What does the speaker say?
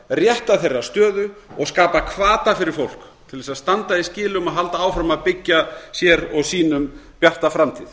rétta þeirra stöðu og skapa hvata fyrir fólk til þess að standa í skilum og halda áfram að byggja sér og sínum bjarta framtíð